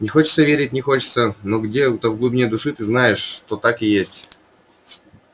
не хочется верить не хочется но где-то в глубине души ты знаешь что так и есть